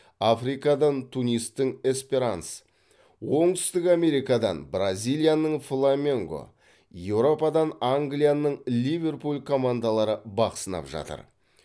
африкадан тунистің эсперанс оңтүстік америкадан бразилияның фламенго еуропадан англияның ливерпуль командалары бақ сынап жатыр